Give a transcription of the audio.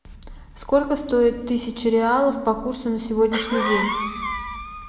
сколько стоит тысяча реалов по курсу на сегодняшний день